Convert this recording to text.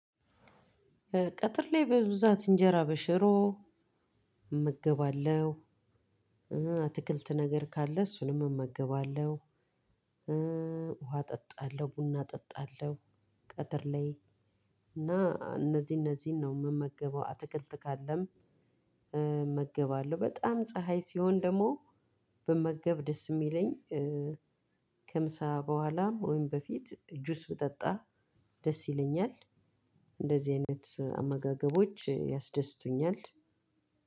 ቀጥር ላይ በብዛት እንጀራ በሽሮ እመገባለሁ አትክልት ነገር ካለ እሱንም እመገባለሁ። ውሃ እጠጣለሁ ቡና እጠጣለሁ። ቀትር ላይ እና እነዚህ እነዚህን ነው የምመገበው። አትክልት ካለም እመገባለሁ። በጣም ፀሀይ ሲሆን ደግሞ ብመገብ ደስ የሚለኝ። ከምሳ በኋላ ወይም በፊት እጁስ ብጠጣ ደስ ይለኛል። እንደዚህ አይነት አመጋገቦች ያስደስቱኛል።